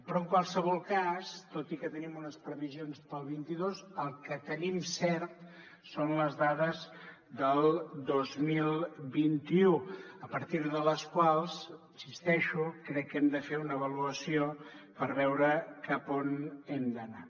però en qualsevol cas tot i que tenim unes previsions per al vint dos el que tenim cert són les dades del dos mil vint u a partir de les quals hi insisteixo crec que hem de fer una avaluació per veure cap a on hem d’anar